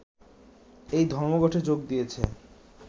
এই ধর্মঘটে যোগ দিয়েছে